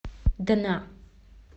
дна